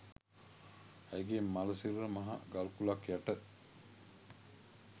ඇයගේ මළ සිරුර මහ ගල්කුළක් යට